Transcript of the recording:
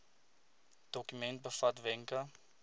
dokument bevat wenke